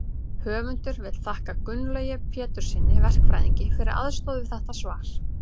höfundur vill þakka gunnlaugi péturssyni verkfræðingi fyrir aðstoð við þetta svar